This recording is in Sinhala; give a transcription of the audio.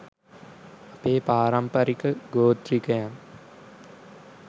අපේ පාරම්පරික ගෝති්‍රකයන්